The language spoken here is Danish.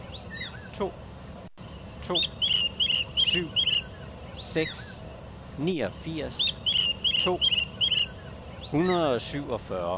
to to syv seks niogfirs to hundrede og syvogfyrre